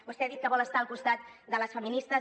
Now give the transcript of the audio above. vostè ha dit que vol estar al costat de les feministes